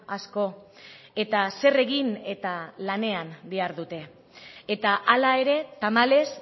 asko eta zer egin eta lanean dihardute eta hala ere tamalez